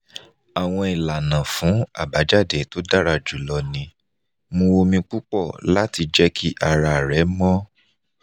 awọn ilana fun abajade to dara julọ ni: mú omi pupọ lati jẹ ki ara rẹ mọ